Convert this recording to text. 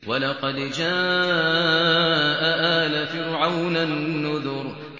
وَلَقَدْ جَاءَ آلَ فِرْعَوْنَ النُّذُرُ